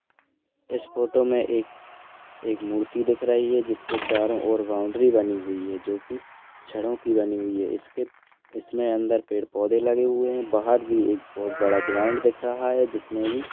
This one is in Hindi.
इस फोटो मे एक एक मूर्ति दिख रही है जिसके चारो और बाउंड्री बनी हुई है जोकि छड़ो की बनी हुई है इसके इसमे अंदर पेड़ पौधे लगे हुए है बाहर भी एक बहुत बड़ा ग्राउंड दिख रहा है जिसमे भी--